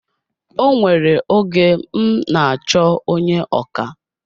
O nwere oge m n'achọ onye ọkà